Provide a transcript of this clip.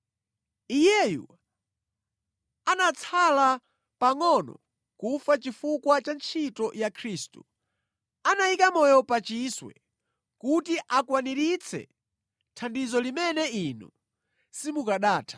Iyeyu anatsala pangʼono kufa chifukwa cha ntchito ya Khristu, anayika moyo pa chiswe kuti akwaniritse thandizo limene inu simukanatha.